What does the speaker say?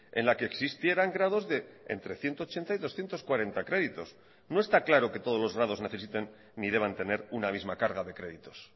en la que existieran grados de entre ciento ochenta y doscientos cuarenta créditos no está claro que todos los grados necesiten ni deban tener una misma carga de créditos